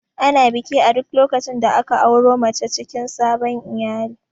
Ana biki a duk lokacin da aka auro mace cikin sabon iyali